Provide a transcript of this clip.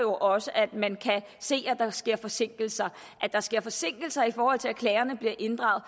også at man kan se at der sker forsinkelser at der sker forsinkelser i forhold til at klagerne bliver inddraget